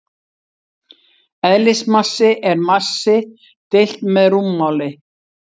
Eðlismassi er massi deilt með rúmmáli.